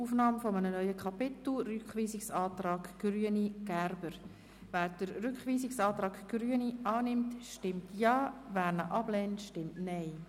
Wer dem Rückweisungsantrag der Grünen zustimmt, stimmt Ja, wer diesen anlehnt, stimmt Nein.